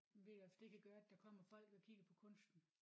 Vildt at det kan gøre at der kommer folk og kigger på kunsten